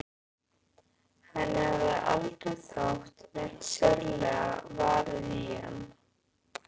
Henni hafði aldrei þótt neitt sérlega varið í hann.